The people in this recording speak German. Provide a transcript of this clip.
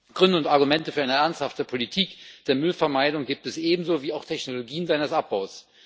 Gründe und Argumente für eine ernsthafte Politik der Müllvermeidung gibt es ebenso wie auch Technologien seines Abbaus.